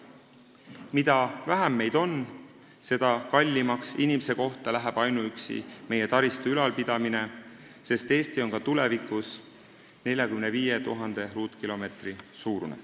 Mida vähem meid on, seda kallimaks inimese kohta läheb ainuüksi taristu ülalpidamine, sest Eesti on ka tulevikus 45 000 ruutkilomeetri suurune.